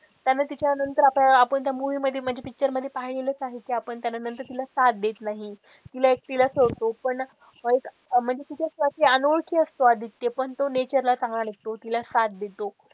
त्यामुले त्याच्या नंतर आपण त्या movie मध्ये म्हणजे picture मध्ये पाहिलेलेच आहे कि आपण नंतर तिला साथ देत नाही तिला एकटीला सोडतो पण एक म्हणजे तिच्या साठी अनोळखी असतो आदित्य पण तो nature ला चांगला नसतो तिला साथ देतो.